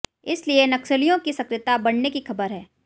इसलिए नक्सलियों की सक्रियता बढऩे की खबर है